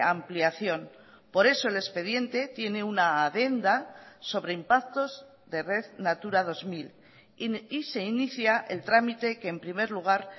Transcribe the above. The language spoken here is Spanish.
ampliación por eso el expediente tiene una adenda sobre impactos de red natura dos mil y se inicia el trámite que en primer lugar